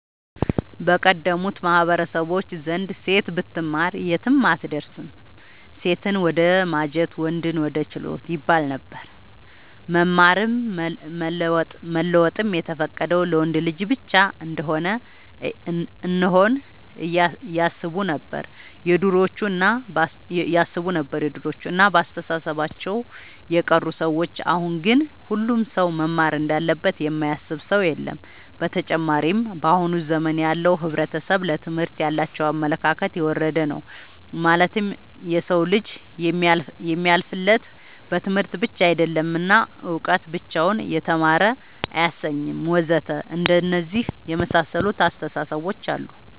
በቀደሙት ማህበረሰቦች ዘንድ ሴት ብትማር የትም አትደርስም ሴትን ወደማጀት ወንድን ወደ ችሎት ይባለነበር። መማርም መለወጥም የተፈቀደው ለወንድ ልጅ ብቻ እንሆነ ያስቡነበር የድሮዎቹ እና በአስተሳሰባቸው የቀሩ ሰዎች አሁን ግን ሁሉም ሰው መማር እንዳለበት የማያስብ ሰው የለም። ብተጨማርም በአሁን ዘመን ያለው ሕብረተሰብ ለትምህርት ያላቸው አመለካከት የወረደ ነው ማለትም የሰው ልጅ የሚያልፍለት በትምህርት ብቻ አይደለም እና እውቀት ብቻውን የተማረ አያሰኝም ወዘተ አንደነዚህ የመሳሰሉት አስታሳሰቦች አሉ